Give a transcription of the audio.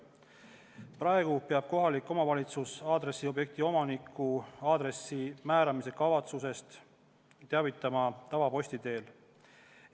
Praegu peab kohalik omavalitsus aadressiobjekti omanikku aadressi määramise kavatsusest teavitama tavaposti teel.